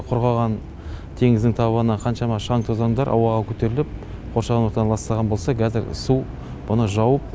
құрғаған теңіздің табанына қаншама шаң тозаңдар ауаға көтеріліп қоршаған ортаны ластаған болса газ бен су оны жауып